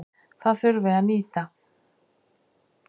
Það þurfi að nýta.